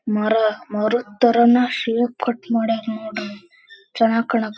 ಮರ ಮೂರು ತರನ ಶೇಪ್ ಕೊಟ್ ಮಾಡ್ಯಾರ್ ನೋಡ್ರಿ ಚೆನ್ನಾಗ್ ಕಾನಾಕ್ ಹತ್-